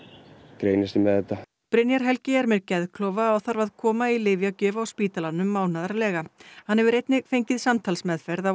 greinist ég með þetta Brynjar Helgi er með geðklofa og þarf að koma í lyfjagjöf á spítalanum mánaðarlega hann hefur einnig fengið samtalsmeðferð á